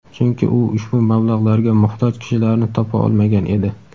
chunki u ushbu mablag‘larga muhtoj kishilarni topa olmagan edi.